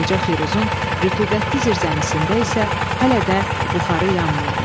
Qoca Firuzun rütubətli zirzəmisində isə hələ də buxarı yanmırdı.